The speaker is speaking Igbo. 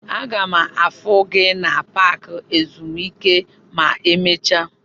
M ga-afụ gị na paaki ezumike ma emecha.